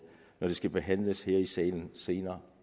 når det skal behandles her i salen senere